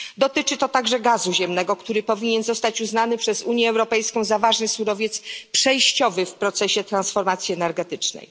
Dotyczy to także gazu ziemnego, który powinien zostać uznany przez Unię Europejską za ważny surowiec przejściowy w procesie transformacji energetycznej.